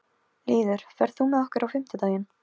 Lýður, ferð þú með okkur á fimmtudaginn?